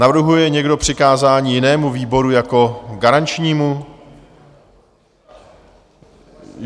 Navrhuje někdo přikázání jinému výboru jako garančnímu?